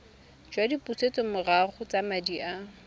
jwa dipusetsomorago tsa madi a